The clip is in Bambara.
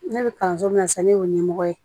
Ne bɛ kalanso min na sisan ne y'o ɲɛmɔgɔ ye